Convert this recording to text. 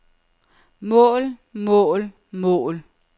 mål mål mål